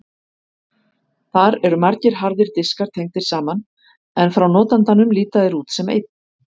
Þar eru margir harðir diskar tengdir saman en frá notandanum líta þeir út sem einn.